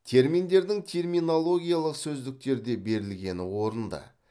терминдердің терминологиялық сөздіктерде берілгені орынды